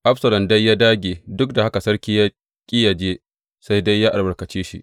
Absalom dai ya dāge, duk da haka sarki ya ƙi yă je, sai dai ya albarkace shi.